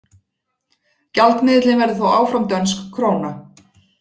Gjaldmiðillinn verður þó áfram dönsk króna.